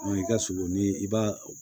i ka sogo ni i b'a